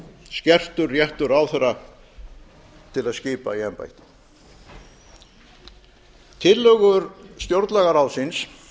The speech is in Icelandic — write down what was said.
skertur réttur ráðherra til að skipa í embætti tillögur stjórnlagaráðsins